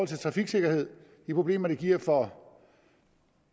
til trafiksikkerhed de problemer det giver for